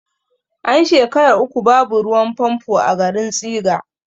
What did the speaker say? An shekara uku babu ruwan fanfo a garin tsiga